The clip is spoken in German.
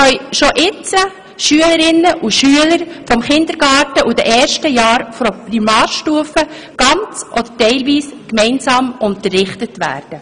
Schon jetzt können Schülerinnen und Schüler des Kindergartens und des ersten Primarschuljahres ganz oder teilweise gemeinsam unterrichtet werden.